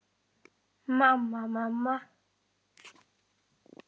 Mamma, mamma.